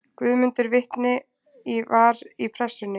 Guðmundur vitni var í Pressunni.